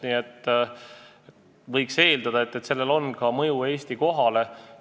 Nii et võiks eeldada, et sellel on mõju ka Eesti kohale teiste riikide hulgas.